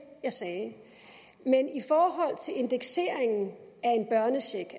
jeg sagde men i forhold til indekseringen af en børnecheck